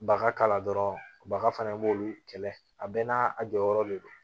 Baga kala dɔrɔn baga fana i b'olu kɛlɛ a bɛɛ n'a a jɔyɔrɔ de don